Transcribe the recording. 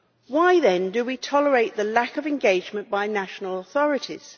Why, then, do we tolerate the lack of engagement by national authorities?